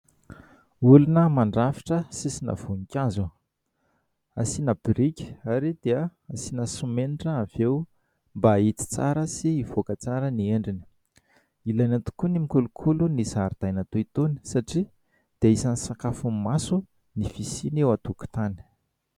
Olona mandrafitra sisina voninkazo asiana biriky ary dia asiana simenitra avy eo mba hahitsy tsara sy hivoaka tsara ny endriny. Ilaina tokoa ny mikolokolo ny zaridaina toy itony satria dia isan'ny sakafon'ny maso ny fisiany eo an-tokotany.